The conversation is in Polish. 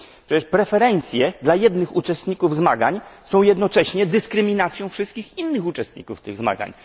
Przecież preferencje dla jednych uczestników zmagań są jednocześnie dyskryminacją wszystkich innych uczestników tych zmagań.